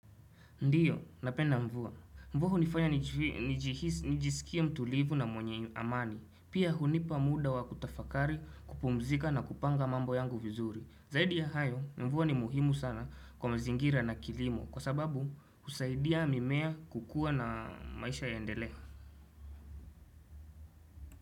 Ndiyo, napenda mvua. Mvua hunifanya nijisikie mtulivu na mwenye amani, pia hunipa muda wa kutafakari kupumzika na kupanga mambo yangu vizuri. Zaidi ya hayo, mvua ni muhimu sana kwa mzingira na kilimo kwa sababu husaidia mimea kukua na maisha ya iendelee.